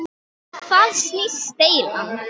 Um hvað snýst deilan?